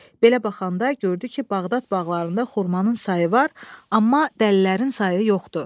Belə baxanda gördü ki, Bağdad bağlarında xurmanın sayı var, amma dəlilərin sayı yoxdur.